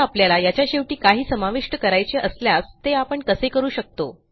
आता आपल्याला याच्या शेवटी काही समाविष्ट करायचे असल्यास ते आपण कसे करू शकतो